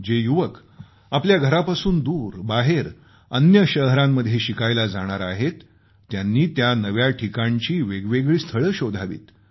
जे युवक आपल्या घरापासून दूर बाहेर अन्य शहरांमध्ये शिकायला जाणार आहेत त्यांनी त्या नव्या ठिकाणची वेगवेगळी स्थळे शोधावीत